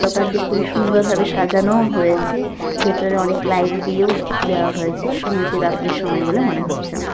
দোকানটি খুবই সুন্দর ভাবে সাজানো হয়েছে ভিতরে অনেক লাইট দিয়েও দেওয়া হয়েছে সময়টি রাত্রের সময় বলে মনে হচ্ছে আমার--